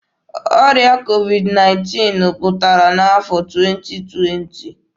Ọrịa COVID-19 pụtara n'afọ 2020.